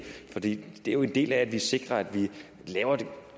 for det er jo en del af at vi sikrer at vi